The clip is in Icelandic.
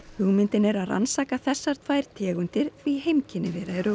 hugmyndin er að rannsaka þessar tvær tegundir því heimkynni þeirra eru